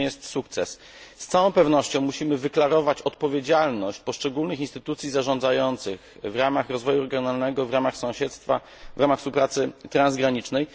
To nie jest sukces. Z całą pewnością musimy wyklarować odpowiedzialność poszczególnych instytucji zarządzających w ramach rozwoju regionalnego, w ramach sąsiedztwa, w ramach współpracy transgranicznej.